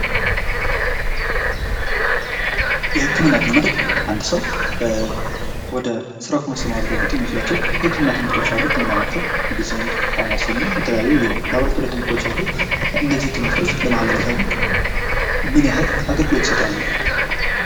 የህክምና ትምህርት ፦ አንድ ሰው ወደ ስራው ከመሰማራቱ በፊት የሚወስዳቸው የህክምና ትምህርቶች አሉ ። ከነዛም መካከል ፦ ሜዲስን ፣ ፋርማሲ እና የተለያዩ የላቦራቶሪ ትምህርቶች አሉ ። እነዚህ ትምህርቶች ለማህበረሰቡ ምን ያክል አገልግሎት ይሰጣሉ ?